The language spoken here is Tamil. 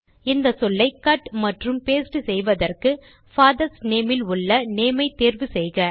இந்த சொல்லை கட் மற்றும் பாஸ்டே செய்வதற்கு பாதர்ஸ் நேம் ல் உள்ள நேம் ஐ தேர்வு செய்க